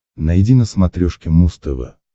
найди на смотрешке муз тв